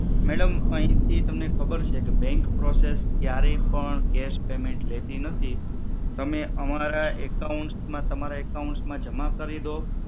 madam અહીંથી તમને ખબર છે bank process ક્યારેય પણ cash payment લેતી નથી તમે અમારા accounts માં તમારા accounts માં જમા કરી દો